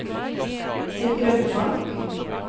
Sigrun Falch